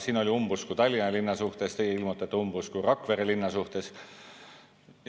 Siin oli umbusku Tallinna linna suhtes, teie ilmutate umbusku Rakvere linna suhtes.